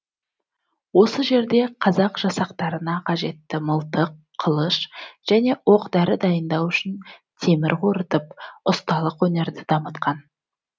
осы жерде қазақ жасақтарына қажетті мылтық қылыш және оқ дәрі дайындау үшін темір қорытып ұсталық өнерді дамытқан